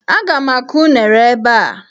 Aga m akụ unere ebe a.